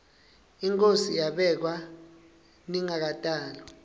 inkhosi yabekwa ngingakatalwa